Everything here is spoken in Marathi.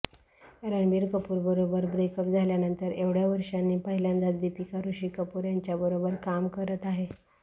रणबीर कपूरबरोबर ब्रेकअप झाल्यानंतर एवढ्या वर्षांनी पहिल्यांदाच दीपिका ऋषी कपूर यांच्याबरोबर काम करत आहे